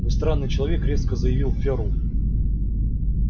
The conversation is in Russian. вы странный человек резко заявил ферл